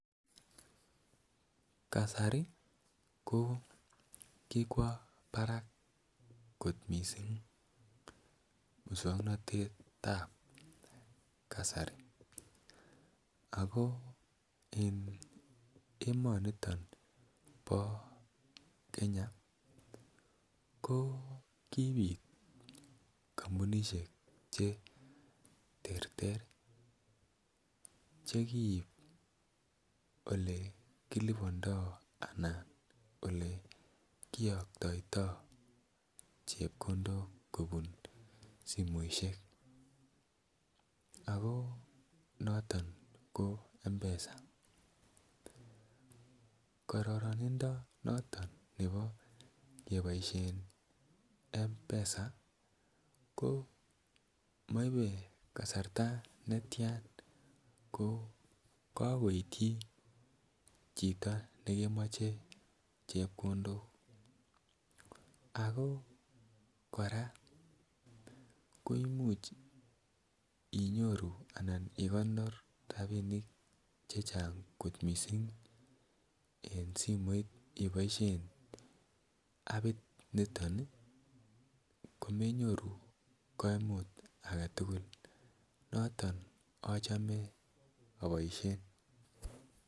Kasari ko kikwo barak moswoknatet ab kasari ako emonito bo Kenya ko kibit kampunisiek Che terter Che kiib Ole kilibandoi anan kiyoktoito chepkondok kobun simoisiek ako noton ko mpesa kororonindo noton nebo keboisien mpesa ko maibe kasarta netian ko kagoityi chito nekemache chepkondok ako kora koimuch igonor rabinik Che Chang kot mising abit noton komenyoru kaimut age tugul noton achome aboisien